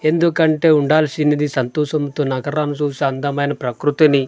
ఎందుకంటే ఉండాల్సింది సంతోషంతో నగరాన్ని చూసి అందమైన ప్రకృతిని--